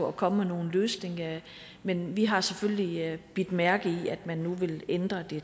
og komme med nogen løsning men vi har selvfølgelig bidt mærke i at man nu vil ændre det